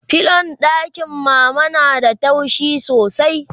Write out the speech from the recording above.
filon ɗakin mama na da taushi sosai